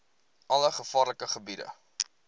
alle gevaarlike gebiede